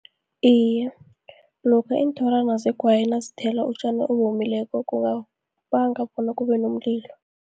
Iye, lokha iinthorwana zegwayi nazithela utjani owomileko, kungabanga bona kubenomlilo.